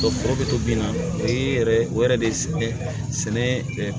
Ko foro bɛ to bin na o ye yɛrɛ o yɛrɛ de sɛnɛ